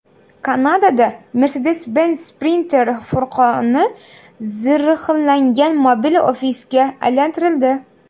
Kanadada Mercedes-Benz Sprinter furgoni zirhlangan mobil ofisga aylantirildi .